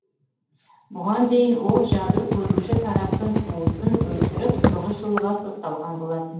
бұған дейін ол жәбір көруші тараптың туысын өлтіріп тоғыз жылға сотталған болатын